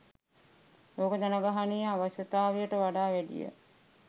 ලෝක ජනගහනයේ අවශ්‍යතාවයට වඩා වැඩිය